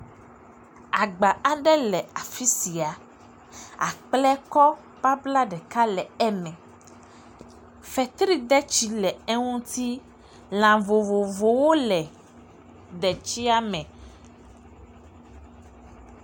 Agba aɖe le afisia. Akple kɔ babla ɖeka aɖe le eme. Fetri detsi le eŋuti. Lã vovovowo le detsia me.